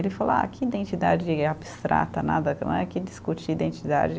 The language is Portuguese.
Ele falou, ah, que identidade abstrata, nada, não é que discutir identidade.